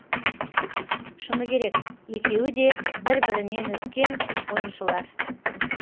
шыны керек екеуі де бір бірінен өткен ойыншылар